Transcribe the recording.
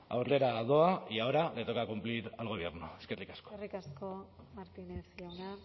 aurrera doa y ahora le toca cumplir al gobierno eskerrik asko eskerrik asko martínez jauna